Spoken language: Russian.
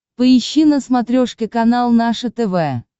поищи на смотрешке канал наше тв